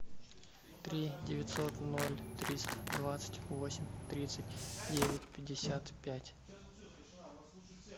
три девятьсот ноль триста двадцать восемь тридцать девять пятьдесят пять